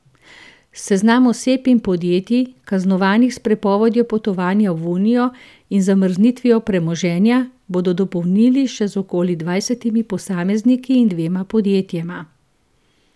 Seznam oseb in podjetij, kaznovanih s prepovedjo potovanja v unijo in z zamrznitvijo premoženja, bodo dopolnili še z okoli dvajsetimi posamezniki in dvema podjetjema.